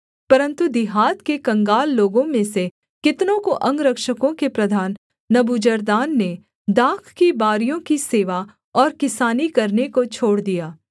परन्तु दिहात के कंगाल लोगों में से कितनों को अंगरक्षकों के प्रधान नबूजरदान ने दाख की बारियों की सेवा और किसानी करने को छोड़ दिया